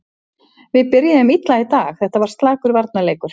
Við byrjuðum illa í dag, þetta var slakur varnarleikur.